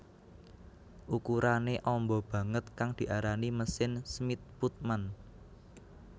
Ukurané amba banget kang diarani mesin Smith Putman